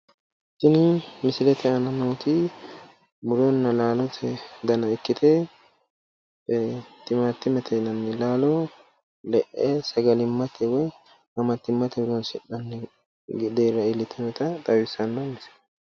tini misilete aana nooti muronna laalo dana ikkite timaatimete yinanni laalo le'e sagalimmate woy qaamatimate deera iillitinotta leellishshanno misileeti.